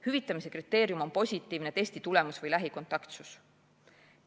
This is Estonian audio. Hüvitamise kriteerium on positiivne testitulemus või lähikontaktsus.